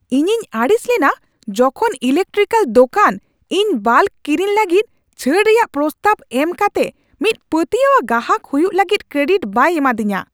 ᱤᱧᱤᱧ ᱟᱹᱲᱤᱥ ᱞᱮᱱᱟ ᱡᱚᱠᱷᱚᱱ ᱤᱞᱮᱠᱴᱨᱤᱠᱮᱞ ᱫᱳᱠᱟᱱ ᱤᱧ ᱵᱟᱞᱠ ᱠᱤᱨᱤᱧ ᱞᱟᱹᱜᱤᱫ ᱪᱷᱟᱹᱲ ᱨᱮᱭᱟᱜ ᱯᱨᱚᱥᱛᱟᱵᱽ ᱮᱢ ᱠᱟᱛᱮ ᱢᱤᱫ ᱯᱟᱹᱛᱭᱟᱹᱣᱟᱱ ᱜᱟᱦᱟᱠ ᱦᱩᱭᱩᱜ ᱞᱟᱹᱜᱤᱫ ᱠᱨᱮᱰᱤᱴ ᱵᱟᱭ ᱮᱢᱟᱫᱤᱧᱟᱹ ᱾